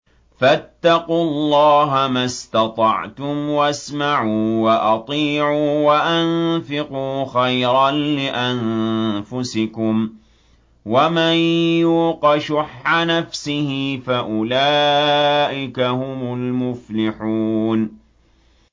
فَاتَّقُوا اللَّهَ مَا اسْتَطَعْتُمْ وَاسْمَعُوا وَأَطِيعُوا وَأَنفِقُوا خَيْرًا لِّأَنفُسِكُمْ ۗ وَمَن يُوقَ شُحَّ نَفْسِهِ فَأُولَٰئِكَ هُمُ الْمُفْلِحُونَ